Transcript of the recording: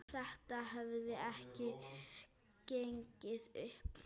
Það hefði ekki gengið upp.